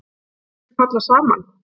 Myndu þeir falla saman?